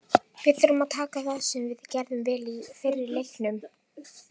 Við þurfum að taka það sem við gerðum vel í fyrri leiknum.